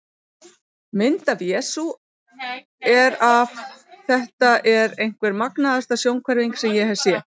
Mynd af Jesú er af Þetta er einhver magnaðasta sjónhverfing sem ég hef séð.